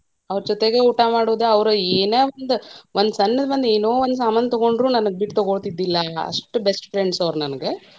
ಅವ್ರ ಜೊತೆಗೆ ಊಟಾ ಮಾಡುದ, ಅವ್ರ ಏನೊಂದ ಒಂದ್ ಸಣ್ಣದ್ ಒಂದ್ ಏನೊಂದ್ ಒಂದ್ಸಾಮಾನ್ ತಗೊಂಡ್ರು ನನ್ನ ಬಿಟ್ಟ ತಗೋಳತಿದ್ದಿಲ್ಲಾ ಅಷ್ಟ best friends ಅವ್ರ ನಂಗ.